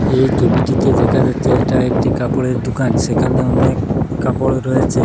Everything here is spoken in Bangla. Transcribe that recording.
এই ছবিটিতে দেখা যাচ্ছে এটা একটি কাপড়ের দুকান সেখানে অনেক কাপড় রয়েছে।